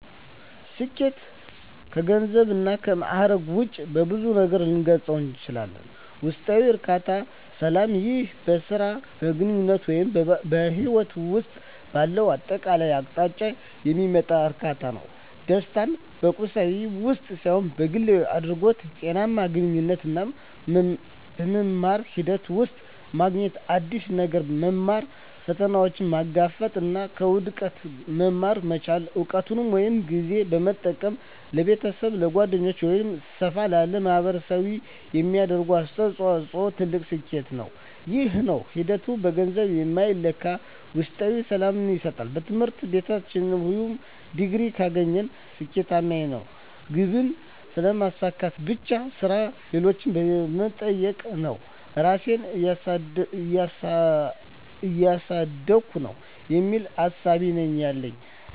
ስኬት ከገንዘብ እና ከማእረግ ውጭ በብዙ ነገር ልገልፀው እችላልሁ። ውስጣዊ እርካታ እና ሰላም ይህ በሥራ፣ በግንኙነት ወይም በሕይወት ውስጥ ባለው አጠቃላይ አቅጣጫ የሚመጣ እርካታ ነው። ደስታን በቁሳዊ ነገር ውስጥ ሳይሆን በግላዊ እድገት፣ ጤናማ ግንኙነቶች እና በመማር ሂደት ውስጥ ማግኘት። አዲስ ነገር መማር፣ ፈተናዎችን መጋፈጥ እና ከውድቀት መማር መቻል። እውቀትን ወይም ጊዜን በመጠቀም ለቤተሰብ፣ ለጓደኞች ወይም ሰፋ ላለ ማኅበረሰብ የሚደረግ አስተዋጽኦ ትልቅ ስኬት ነው። ይህ ሁሉ ሂደት በገንዘብ የማይለካ ውስጣዊ ሰላምን ይሰጣል። በትምህርት ቤትተያለሁ "ይህን ዲግሪ ካገኘሁ ስኬታማ ነኝ" ግብን ስለማሳካት ብቻ ነው የማስበው። አሁን ግን "የምሰራው ሥራ ሌሎችን እየጠቀመ ነው? ራሴን እያሳደግኩ ነው?" የሚል እሳቤ ነው ያለኝ።